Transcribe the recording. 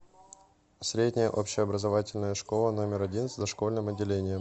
средняя общеобразовательная школа номер один с дошкольным отделением